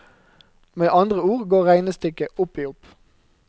Med andre ord går regnestykket opp i opp.